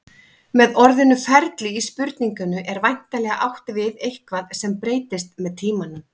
Með orðinu ferli í spurningunni er væntanlega átt við eitthvað sem breytist með tímanum.